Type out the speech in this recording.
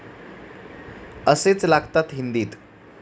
असेच लागतात हिंदीत.